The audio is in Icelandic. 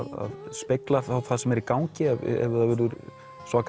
speglar það sem er í gangi ef það verður